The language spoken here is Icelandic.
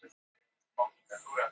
Tíminn er naumur Jón Ólafur!